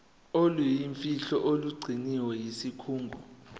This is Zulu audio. oluyimfihlo olugcinwe yisikhungo